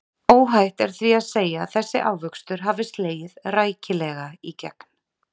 Óhætt er því að segja að þessi ávöxtur hafi slegið rækilega í gegn.